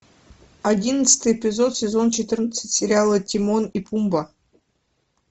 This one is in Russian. одиннадцатый эпизод сезон четырнадцать сериала тимон и пумба